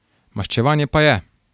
Maščevanje pa je.